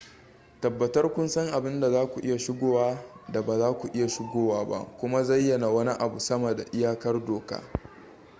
tabbatar kun san abin da zaku iya shigowa da ba za ku iya shigowa ba kuma zayyana wani abu sama da iyakar doka